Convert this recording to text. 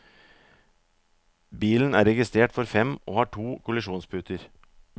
Bilen er registrert for fem og har to kollisjonsputer.